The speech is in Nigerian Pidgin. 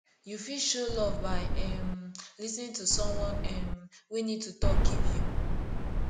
you fit show love by um lis ten ing to someone um wey need to talk give you